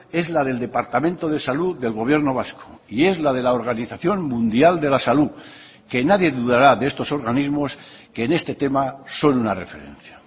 es la del departamento de salud del gobierno vasco y es la de la organización mundial de la salud que nadie dudará de estos organismos que en este tema son una referencia